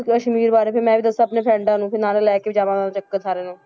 ਕਸ਼ਮੀਰ ਬਾਰੇ ਫਿਰ ਮੈਂ ਵੀ ਦੱਸਾਂ ਆਪਣੇ ਫਰੈਂਡਾਂ ਨੂੰ ਤੇ ਨਾਲੇ ਲੈ ਕੇ ਵੀ ਜਾਵਾਂਗੇ ਸਾਰਿਆਂ ਨੂੰ